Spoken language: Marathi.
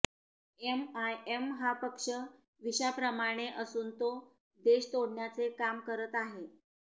एमआयएम हा पक्ष विषाप्रमाणे असून तो देश तोडण्याचे काम करत आहे